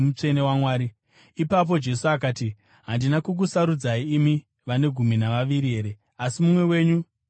Ipapo Jesu akati, “Handina kukusarudzai, imi vane gumi navaviri here? Asi mumwe wenyu ndidhiabhori!”